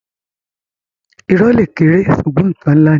Irọ́ le kéré ṣugbọn nkan nlá ni.